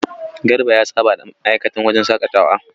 Garba ya saba da ma'aikatan wajen shaƙatawa.